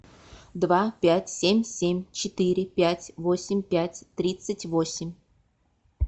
два пять семь семь четыре пять восемь пять тридцать восемь